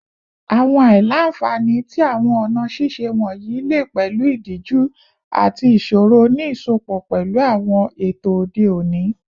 Awọn aila-nfani ti awọn ọna ṣiṣe wọnyi le pẹlu idiju ati iṣoro ni iṣọpọ pẹlu awọn eto ode oni